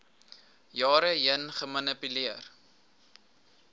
jare heen gemanipuleer